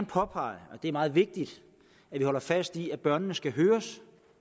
påpege at det er meget vigtigt at vi holder fast i at børnene skal høres